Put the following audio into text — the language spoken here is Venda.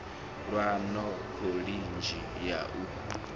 lwe na khoḽidzhi ye a